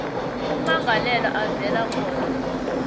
ummangalelwa avela khona